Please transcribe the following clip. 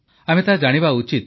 ଆମେ ତାହା ଜାଣିବା ଉଚିତ